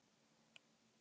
Losti geitarinnar er laun